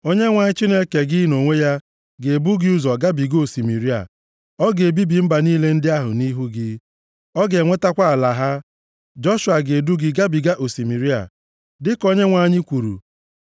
Onyenwe anyị Chineke gị nʼonwe ya ga-ebu gị ụzọ gabiga osimiri a. Ọ ga-ebibi mba niile ndị a nʼihu gị. Ị ga-enwetakwa ala ha. Joshua ga-edu gị gabiga osimiri a, dịka Onyenwe anyị kwuru.